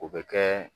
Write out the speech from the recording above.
O bɛ kɛ